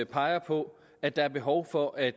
peger på at der er behov for at